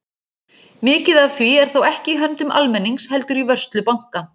Mikið af því er þó ekki í höndum almennings heldur í vörslu banka.